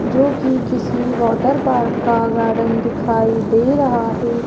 जो कि किसी वाटर पार्क का गार्डन दिखाई दे रहा है।